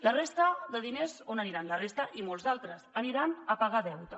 la resta de diners on aniran la resta i molts d’altres aniran a pagar deute